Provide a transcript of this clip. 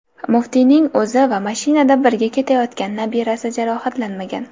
Muftiyning o‘zi va mashinada birga ketayotgan nabirasi jarohatlanmagan.